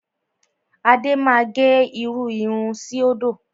Adé máa gẹ irú irun síòdò.